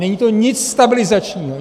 Není to nic stabilizačního.